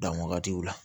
Dan wagatiw la